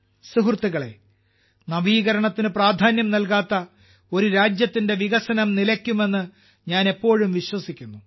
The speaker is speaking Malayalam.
സുഹൃത്തുക്കളേ നവീകരണത്തിന് പ്രാധാന്യം നൽകാത്ത ഒരു രാജ്യത്തിന്റെ വികസനം നിലയ്ക്കുമെന്ന് ഞാൻ എപ്പോഴും വിശ്വസിക്കുന്നു